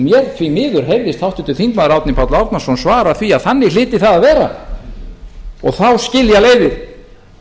mér því miður heyrðist háttvirtur þingmaður árni páll árnason svara því að þannig hlyti það að vera þá skilja leiðir